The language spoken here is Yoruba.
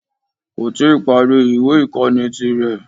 Kò tí ì parí ìwé ìkóni ti rè